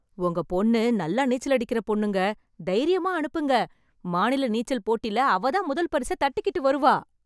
உங்க பொண்ணு நல்லா நீச்சலடிக்கற பொண்ணுங்க... தைரியமா அனுப்புங்க, மாநில நீச்சல் போட்டில அவதான் முதல் பரிசை தட்டிக்கிட்டு வருவா.